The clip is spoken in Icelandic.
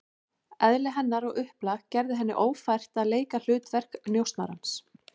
Eðli hennar og upplag gerði henni ófært að leika hlutverk njósnarans.